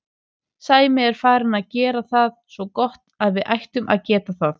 Sæmi er farinn að gera það svo gott að við ættum að geta það.